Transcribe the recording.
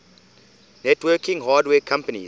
networking hardware companies